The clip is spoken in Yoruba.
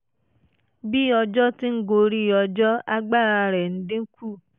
bí ọjọ́ ti ń gorí ọjọ́ agbára rẹ̀ ń dín kù